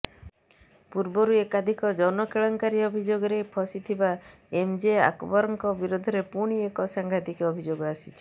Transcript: ପୂର୍ବରୁ ଏକାଧିକ ଯୌନ କେଳେଙ୍କାରୀ ଅଭିଯୋଗରେ ଫସିଥିବା ଏମ୍ଜେ ଆକବରଙ୍କ ବିରୋଧରେ ପୁଣି ଏକ ସାଂଘାତିକ୍ ଅଭିଯୋଗ ଆସିଛି